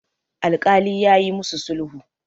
alkali ya yi musu sulhu